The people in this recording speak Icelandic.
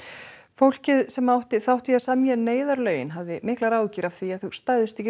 fólkið sem átti þátt í að semja neyðarlögin hafði miklar áhyggjur af því að þau stæðust ekki